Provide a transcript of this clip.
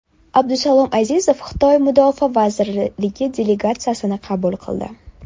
Abdusalom Azizov Xitoy mudofaa vazirligi delegatsiyasini qabul qildi.